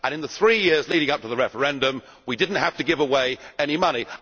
In the three years leading up to the referendum we did not have to give away any money.